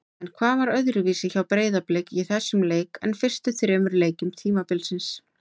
En hvað var öðruvísi hjá Breiðablik í þessum leik en fyrstu þremur leikjum tímabilsins?